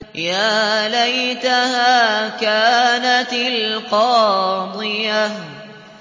يَا لَيْتَهَا كَانَتِ الْقَاضِيَةَ